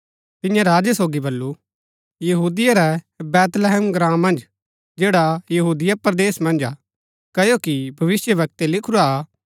तिऐं राजै सोगी बल्लू यहूदिया रै बैतलहम ग्राँ मन्ज जैड़ा यहूदिया परदेस मन्ज हा क्ओकि भविष्‍यवक्तै लिखुरा कि